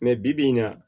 bi bi in na